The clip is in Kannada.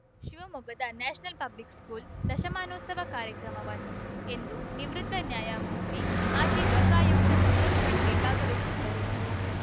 ಶಿವಮೊಗ್ಗದ ನ್ಯಾಷನಲ್‌ ಪಬ್ಲಿಕ್‌ ಸ್ಕೂಲ್‌ ದಶಮಾನೋತ್ಸವ ಕಾರ್ಯಕ್ರಮವನ್ನು ಎಂದು ನಿವೃತ್ತ ನ್ಯಾಯಮೂರ್ತಿ ಮಾಜಿ ಲೋಕಾ ಯುಕ್ತ ಸಂತೋಷ್‌ ಹೆಗ್ಡೆ ಭಾಗವಹಿಸಿದ್ದರು